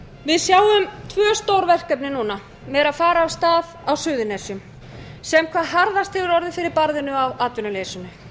við sjáum tvö stór verkefni núna sem eru að fara á stað á suðurnesjum sem hvað harðast hefur orðið fyrir barðinu á atvinnuleysinu